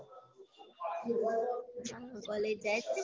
college જાય છે?